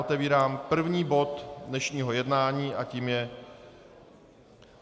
Otevírám první bod dnešního jednání a tím je